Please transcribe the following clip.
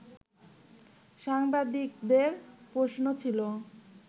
সাংবাদিকদের প্রশ্ন ছিল